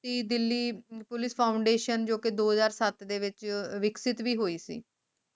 Delhi Police Foundtion ਜੋ ਕਿ ਦੋ ਹਜ਼ਾਰ ਸੱਤ ਦੇ ਵਿਚ ਵਿਕਸਿਤ ਵੀ ਹੋਇ ਸੀ